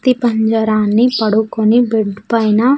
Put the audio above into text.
పంజారాన్ని పడుకొని బెడ్ పైన.